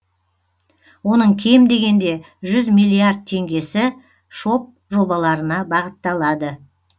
оның кем дегенде жүз миллиард теңгесі шоб жобаларына бағытталады